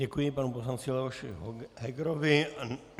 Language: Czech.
Děkuji panu poslanci Leoši Hegerovi.